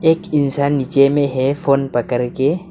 एक इंसान नीचे में है फोन पकड़ के।